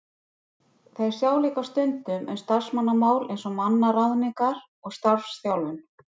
Þeir sjá líka stundum um starfsmannamál eins og mannaráðningar og starfsþjálfun.